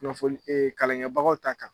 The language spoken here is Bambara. Kunnafoni ee kalankɛbagaw ta kan